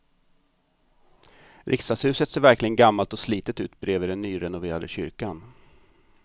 Riksdagshuset ser verkligen gammalt och slitet ut bredvid den nyrenoverade kyrkan.